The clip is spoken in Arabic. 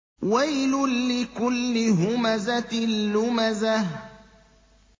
وَيْلٌ لِّكُلِّ هُمَزَةٍ لُّمَزَةٍ